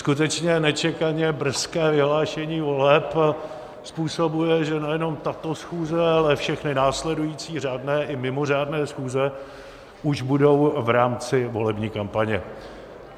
Skutečně nečekaně brzké vyhlášení voleb způsobuje, že nejenom tato schůze, ale všechny následující řádné i mimořádné schůze už budou v rámci volební kampaně.